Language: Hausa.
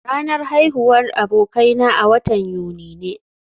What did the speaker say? Ranar haihuwar abokaina a watan Yuni ne